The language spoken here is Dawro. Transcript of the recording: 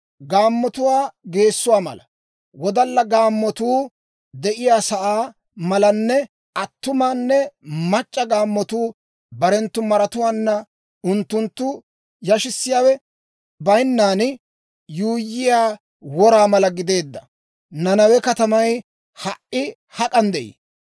Gaammatuwaa geessuwaa mala, wodalla gaammatuu de'iyaasaa malanne attumanne mac'c'a gaammatuu barenttu maratuwaanna unttunttu yashissiyaawe bayinnan, yuuyyiyaa wora mala gideedda Nanawe katamay ha"i hak'an de'ii?